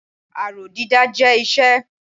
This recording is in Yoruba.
Aró dídá jẹ́ iṣẹ́.